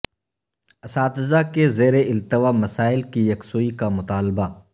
اساتذہ کے زیر التواء مسائل کی یکسوئی کا مطالبہ